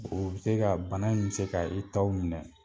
Oo bi se ka bana in bɛ se ka i taw minɛ.